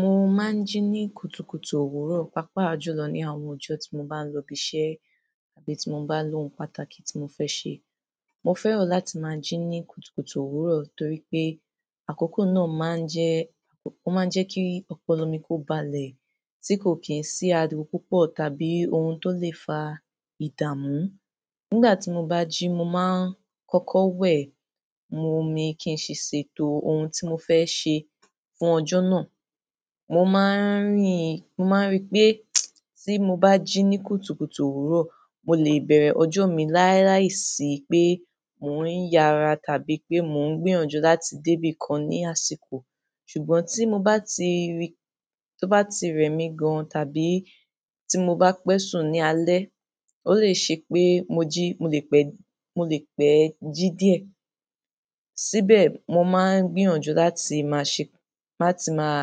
Mo máa ń jí ní kùtùkùtù òwúrọ̀ pàápàá jùlọ ní àwọn ọjọ́ tí mo bá ń lọ ibi iṣẹ́ tàbí tí mo bá ń lo ohun pàtàkì tí mo fẹ́ ṣe. Mo fẹ́ràn láti máa jí ní kùtùkùtù òwúrọ̀ torí pé àkókò náà máa ń jẹ́, ó máa ń jẹ́ kí ọpọlọ mi kó balẹ̀, tí kò kí ń sí ariwo púpọ̀ tàbí ohun tó lè fa ìdààmú. Nígbà tí mo bá jí, mo máa ń kọ́kọ́ wẹ̀, mo mi kí n sì ṣètò ohun tí mo fẹ́ ṣe fún ọjọ́ náà. Mo máa ń ríi, mo máa ń rí pé tí mo bá jí ní kùtùkùtù òwúrọ̀, mo lè bẹ̀rẹ̀ ọjọ́ mi láíláì sí pé mò ń yára tàbí pé mò ń gbìyànjú láti dé ibi kan ní àsìkò. Ṣùgbọ́n tí mo bá ti rí, tí ó bá ti rẹ mi gan tàbí tí mo bá pẹ́sùn ní alẹ́, ó lè ṣe pé mo jí, mo lè pẹ́, mo lè pẹ́ jí díẹ̀. Síbẹ̀ mo máa ń gbìyànjú láti máa ṣẹ, láti máa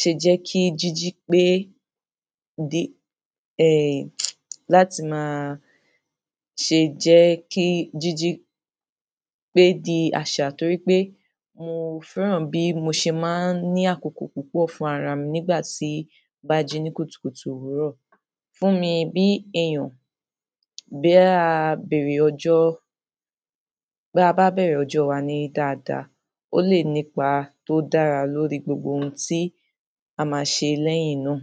ṣe jẹ́ kí jíjí pé di, ẹ, láti máa ṣe jẹ́ kí jíjí pé di àṣà torí pé mo fẹ́ràn bí mo ṣe máa ń ní àkókò púpọ̀ fún ara mi nígbà tí mo bá jí ní kùtùkùtù òwúrọ̀. Fún mi bí èèyàn, bí a bẹ̀rẹ̀ ọjọ́, bí a bá bẹ̀rẹ̀ ọjọ́ wa ní dáadáa, ó lè nípa tó dára lórí gbogbo ohun tí a máa ṣe lẹ́yìn náà.